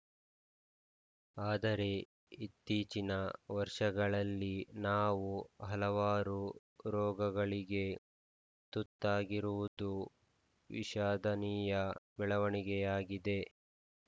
ಆದರೆ ಇತ್ತೀಚಿನ ವರ್ಷಗಳಲ್ಲಿ ನಾವು ಹಲವಾರು ರೋಗಗಳಿಗೆ ತುತ್ತಾಗುತ್ತಿರುವುದು ವಿಷಾದನೀಯ ಬೆಳವಣಿಗೆಯಾಗಿದೆ